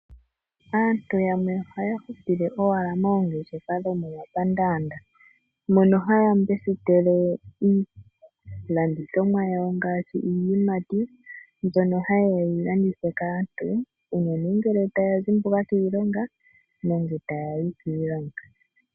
Aantu yamwe ohaya hupile owala moongeshefa dhomomapaandanda mono hay mbesitele iilandithonwa yawo ngaashi iiyimati mbyono hayeay okuyilanditha kaantu uunene ngele taya yi kiilonga nenge taya zimbuka kiilonga.